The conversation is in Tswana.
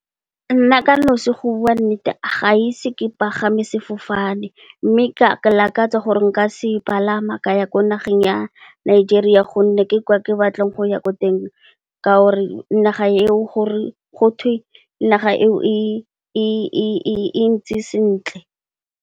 Nna ka nnosi go bua nnete ga ise ke pagame sefofane mme, ke lakatsa gore nka se palama ka ya ko nageng ya Nigeria gonne, ke kwa ke batlang go ya ko teng ka gore gotwe naga eo e ntse sentle.